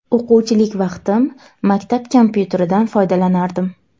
O‘quvchilik vaqtim maktab kompyuteridan foydalanardim.